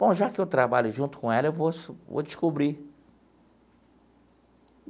Bom, já que eu trabalho junto com ela, eu vou vou descobrir.